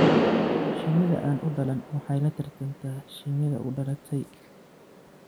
Shinnida aan u dhalan waxay la tartantaa shinnida u dhalatay.